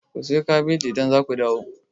Ku siyo kabeji idan za ku dawo!